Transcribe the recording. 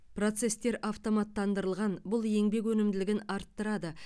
процестер автоматтандырылған бұл еңбек өнімділігін арттырады